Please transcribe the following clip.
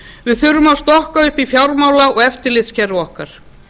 við þurfum að stokka upp í fjármála og eftirlitskerfi okkar